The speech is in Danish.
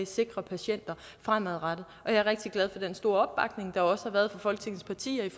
sikrer patienter fremadrettet og jeg er rigtig glad for den store opbakning der også har været fra folketingets partier